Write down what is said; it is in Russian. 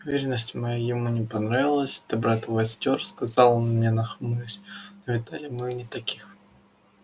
уверенность моя ему не понравилась ты брат востёр сказал он мне нахмурясь но видали мы и не таких